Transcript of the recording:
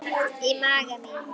Í maga mín